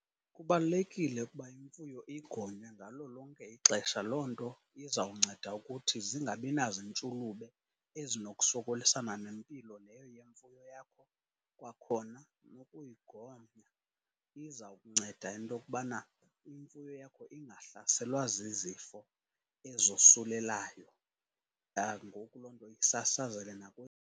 Kubalulekile ukuba imfuyo igonywe ngalo lonke ixesha. Loo nto izawunceda ukuthi zingabi nazintshulube ezinokusokolisana nempilo leyo yemfuyo yakho. Kwakhona ukuyigonya iza kunceda into okubana imfuyo yakho ingahlaselwa zizifo ezosulelayo, ngoku loo nto isasazeke .